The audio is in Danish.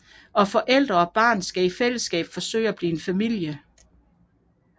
Og forældre og barn skal i fællesskab forsøge at blive en familie